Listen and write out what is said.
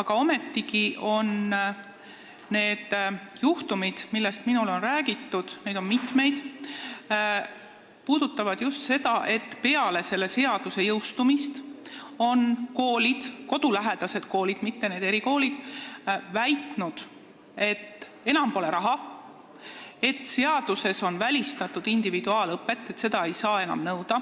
aga ometigi need juhtumid, millest minule on räägitud, on just sellised, et peale seaduse jõustumist on koolid väitnud – kodulähedased koolid, mitte erikoolid –, et enam pole raha ja et seaduse järgi on individuaalõpe välistatud, seda ei saa enam nõuda.